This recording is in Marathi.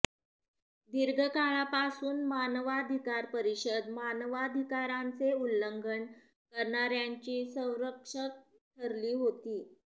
दीर्घकाळापासून मानवाधिकार परिषद मानवाधिकारांचे उल्लंघन करणाऱयांची संरक्षक ठरली होती